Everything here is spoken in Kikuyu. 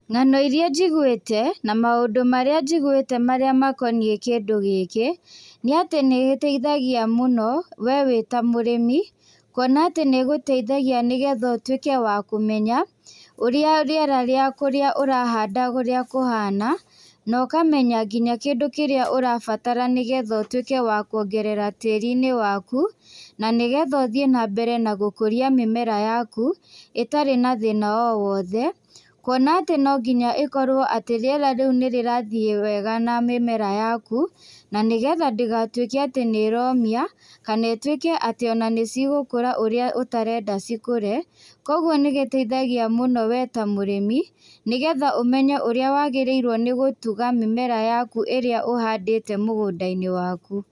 Ng'ano iria njigwĩte, na maũndũ marĩa njigwĩte makoniĩ kĩndũ gĩkĩ, nĩatĩ nĩgĩteithagia mũno, we wĩta mũrĩmi, kuona atĩ nĩgũteithagia nĩgetha ũtwĩke wa kũmenya, ũrĩa rĩera rĩa kũrĩa ũrahanda ũrĩa kũhana, nokamenya nginya kĩndũ kĩrĩa ũrabatara nĩgetha ũtwĩke wa kuongerera tĩri-inĩ waku, nanĩgetha ũthiĩ nambere na gũkũria mĩmera yaku, ĩtarĩ na thĩna o wothe, kuona atĩ nonginya ĩkorwo atĩ rĩera rĩu nĩrĩrathiĩ wega na mĩmera yaku, nanĩgetha ndĩgatwĩke atĩ nĩromia, kanetwĩke atĩ ona nĩcigũkũra ũrĩa ũtarenda cikũre, koguo nĩgĩteithagia mũno we ta mũrĩmi, nĩgetha ũmenye ũrĩa wagĩrĩirwo nĩ gũtuga mĩmera yaku ĩrĩa ũhandĩte mũgũnda-inĩ waku.